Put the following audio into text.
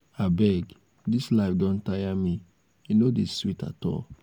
abeg dis life don tire me e no dey sweet at all